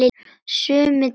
Summi dáinn.